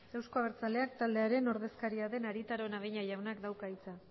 euzko abertzaleak taldearen ordezkaria den arieta araunabeña jaunak dauka hitza